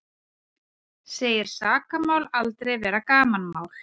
Segir sakamál aldrei vera gamanmál